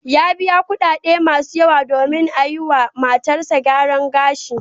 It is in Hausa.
Ya biya kuɗaɗe masu yawa domin a yiwa matarsa gyaran gashi.